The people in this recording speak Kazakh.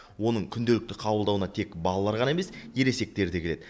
оның күнделікті қабылдауына тек балалар ғана емес ересектер де келеді